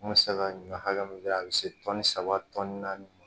N kun bɛ se ka ɲɔ hakɛ min kɛ a bɛ se tɔni saba naani